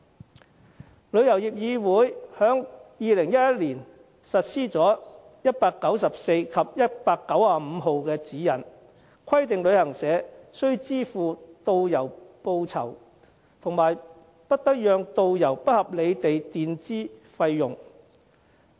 香港旅遊業議會在2011年實施第194號及第195號指引，規定旅行社必須支付導遊報酬，以及不得讓導遊不合理地墊支費用。